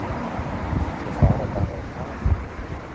Þau fara bara á kaf.